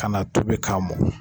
Kan'a tobi k'a mɔ